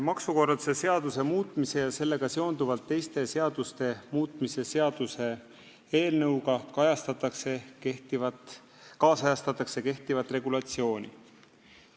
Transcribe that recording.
Maksukorralduse seaduse muutmise ja sellega seonduvalt teiste seaduste muutmise seaduse eelnõuga ajakohastatakse kehtivat regulatsiooni.